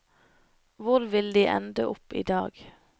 Hvor vil de ende opp i dag?